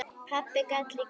Pabbi gat líka samið ljóð.